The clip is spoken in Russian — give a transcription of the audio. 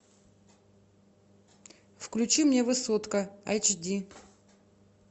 включи мне высотка айч ди